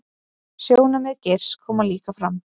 Sjónarmið Geirs komi líka fram